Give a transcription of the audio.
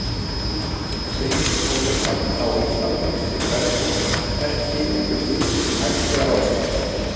Segir honum að á Íslandi sé kvenfólk ekki einhver hlutur sem hægt sé að ráðstafa.